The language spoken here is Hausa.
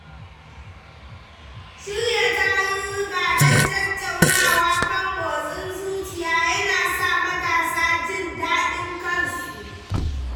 Shirya tarurruka don tattaunawa kan motsin zuciya yana sa matasa jin daɗin kansu.